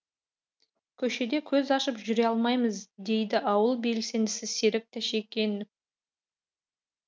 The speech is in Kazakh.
көшеде көз ашып жүре алмаймыз дейді ауыл белсендісі серік тәшекенов